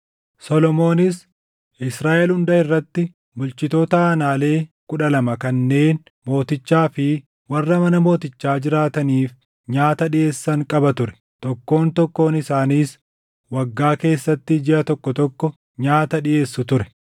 Solomoonis Israaʼel hunda irratti bulchitoota aanaalee kudha lama kanneen mootichaa fi warra mana mootichaa jiraataniif nyaata dhiʼeessan qaba ture. Tokkoon tokkoon isaaniis waggaa keessatti jiʼa tokko tokko nyaata dhiʼeessu ture.